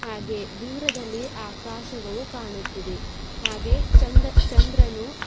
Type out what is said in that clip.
ಹಾಗೆ ದೂರದಲ್ಲಿ ಆಕಾಶಗಳು ಕಾಣುತ್ತಿದೆ ಹಾಗೆ ಚಂದ ಚಂದ್ರನು.